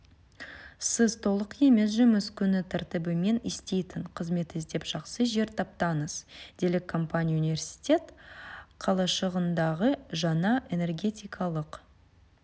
сіз толық емес жұмыс күні тәртібімен істейтін қызмет іздеп жақсы жер таптыңыз делік компания университет қалашығындағы жаңа энергетикалық